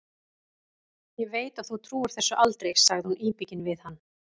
Ég veit að þú trúir þessu aldrei, sagði hún íbyggin við hann.